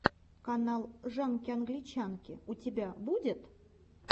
канал жанки англичанки у тебя будет